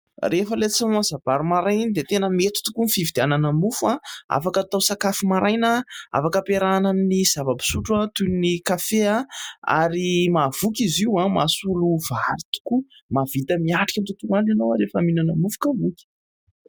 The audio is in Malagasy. Rehefa ilay tsy mahamasa-bary maraina iny dia tena mety tokoa ny fifidianana mofo; afaka atao sakafo maraina, afaka ampiarahana amin'ny zava-pisotro toy ny kafe, ary mahavoky izy io mahasolo vary tokoa; mahavita miatrika ny tontolo andro ianao rehefa mihinana mofo ka voky.